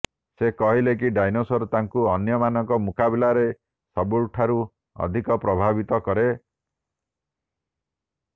ସେ କିହିଲେ କି ଡାଇନୋସର ତାଙ୍କୁ ଅନ୍ୟ ମାନଙ୍କ ମୁକାବିଲାରେ ସବୁଠାରୁ ଅଧିକ ପ୍ରଭାବିତ କରେ